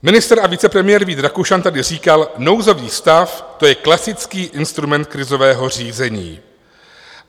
Ministr a vicepremiér Vít Rakušan tady říkal: nouzový stav, to je klasický instrument krizového řízení.